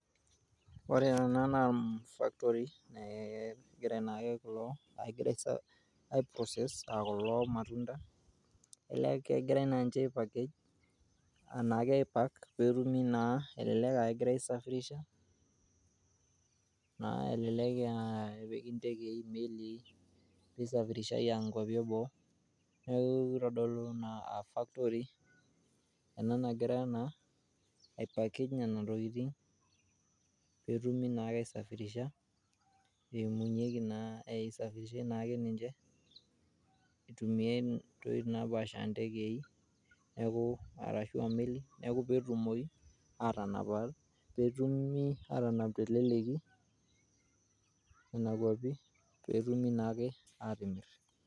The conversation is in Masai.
Ore ena naa factory, egira naake kulo agira aiprocess kulo matunda, elee kegirai naa ninche aipakeg anake aipaak peetumi naa elelek aa kegirai aisafirisha, elelek epiki ntekei, melii, neisafirishai aaya nkuapi eboo, neeku keitodolu naa aa factory ena nagira naa aipakeg nena tokitin peetumi naake aisafirisha eimunyeki naa, eisafirishai naake ninche eitumiyiai nkoitoi napaasha aa ntekei arashu melii neeku peetumi aatanap teleleki nena kuapi peetumi naake aatimirr.